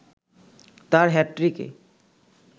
তার হ্যাটট্রিকে